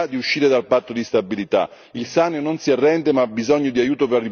Il Sannio non si arrende ma ha bisogno di aiuto per ripartire l'Europa faccia la sua parte.